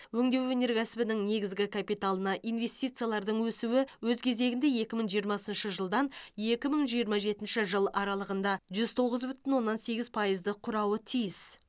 өңдеу өнеркәсібінің негізгі капиталына ивнестициялардың өсуі өз кезегінде екі мың жиырмасыншы жылдан екі мың жиырма жетінші жыл аралығында жүз тоғыз бүтін оннан сегіз пайызды құрауы тиіс